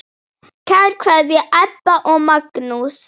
Kær kveðja, Ebba og Magnús.